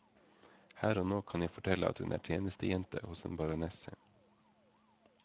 Her og nå kan jeg fortelle at hun er tjenestejente hos en baronesse.